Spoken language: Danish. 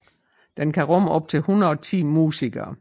Den kan rumme op til 110 musikere